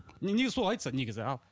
негізі солай айтса негізі ал